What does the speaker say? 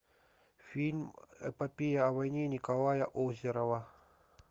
фильм эпопея о войне николая озерова